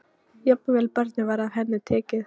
Jafnvel barnið var af henni tekið.